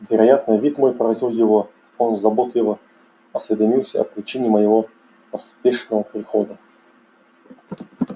вероятно вид мой поразил его он заботливо осведомился о причине моего поспешного прихода